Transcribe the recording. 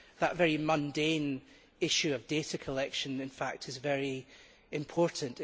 That very mundane issue of data collection in fact is very important.